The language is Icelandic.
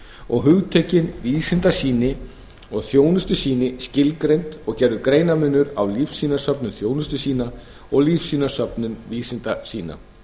og hugtökin vísindasýni og þjónustusýni skilgreind og gerður greinarmunur á lífsýnasöfnun þjónustusýna og lífsýnasöfnun vísindasýna